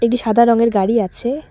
একটি সাদা রঙের গাড়ি আছে।